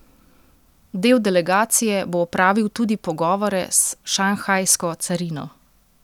Del delegacije bo opravil tudi pogovore s šanghajsko carino.